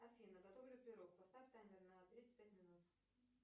афина готовлю пирог поставь таймер на тридцать пять минут